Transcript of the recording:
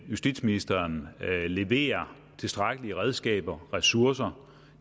justitsministeren leverer tilstrækkelige redskaber og ressourcer